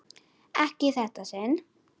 Ekki í þetta sinn.